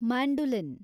mandolin